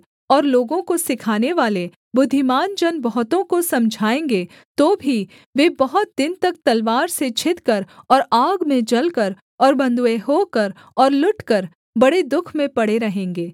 और लोगों को सिखानेवाले बुद्धिमान जन बहुतों को समझाएँगे तो भी वे बहुत दिन तक तलवार से छिदकर और आग में जलकर और बँधुए होकर और लुटकर बड़े दुःख में पड़े रहेंगे